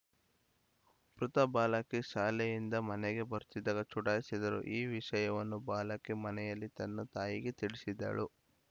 ಮೃತ ಬಾಲಕಿ ಶಾಲೆಯಿಂದ ಮನೆಗೆ ಬರುತ್ತಿದ್ದಾಗ ಚುಡಾಯಿಸಿದ ರು ಈ ವಿಷಯವನ್ನು ಬಾಲಕಿ ಮನೆಯಲ್ಲಿ ತನ್ನ ತಾಯಿಗೆ ತಿಳಿಸಿದಳು